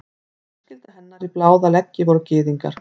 Fjölskylda hennar í báða leggi voru gyðingar.